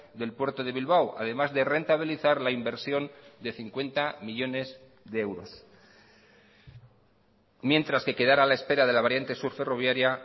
del puerto de bilbao además de rentabilizar la inversión de cincuenta millónes de euros mientras que quedar a la espera de la variante sur ferroviaria